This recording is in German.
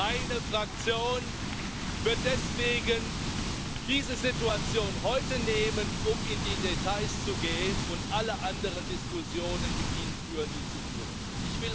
Meine Fraktion wird deswegen diese Situation heute nutzen, um in die Details zu gehen und alle anderen Diskussionen mit Ihnen führen, die zu führen sind.